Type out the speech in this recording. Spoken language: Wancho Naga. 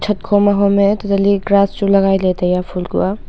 chhat kho ma hom e tata li grass chu lagai ley tai a.